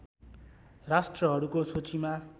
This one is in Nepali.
राष्ट्रहरूको सूचीमा